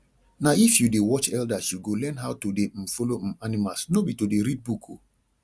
na if you dey watch elders you go learn how to dey um follow um animals no be to dey read book o